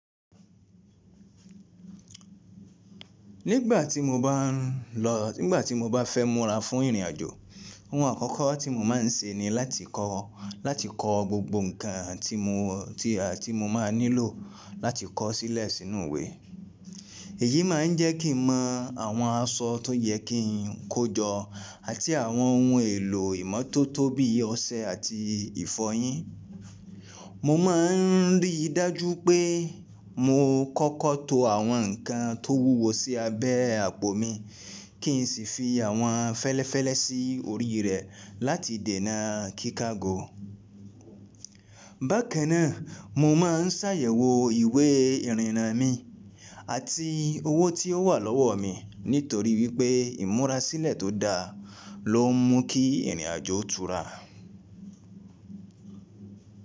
Nígbà tí mo bá ń lọ, nígbà tí mo bá fẹ́ múra fún ìrìnàjò, ohun àkọ́kọ́ tí mo máa ń ṣe ni láti kọ, láti kọ gbogbo ǹkan tí mo, tí a, tí mo máa nílò láti kọ sílẹ̀ sínú ìwé. Èyí máa ń jẹ́ kí n mọ àwọn aṣọ tó yẹ kí n kó jọ àti àwọn ohun èlò ìmọ́tótó bí i ọṣẹ àti ìfọyín. Mo má a ń rí i dájú pé mo kọ́kọ́ to àwọn ǹkan tó wúwo sí abẹ́ àpò mi kí n sì fi àwọn fẹ́lẹ́fẹ́lẹ́ sí orí rẹ̀ láti dènà kíkàgo. Bákan náà, mo má a ń ṣàyẹ̀wò ìwé ìrìnnà mi àti owó tí ó wà lọ́wọ́ mi nítorí wípé ìmúra sílẹ̀ tó da ló ń mú kí ìrìnàjò tu rà.